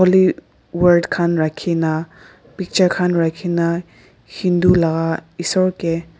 le word khan rakhena picture khan rakhena hindu la isor ke.